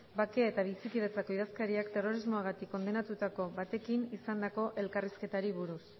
bake eta bizikidetzarako idazkariak terrorismoagatik kondenatutako batekin izandako elkarrizketari buruz